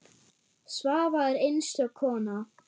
Svava er einstök kona.